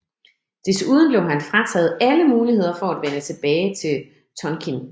Desuden blev han frataget alle muligheder for at vende tilbage til Tonkin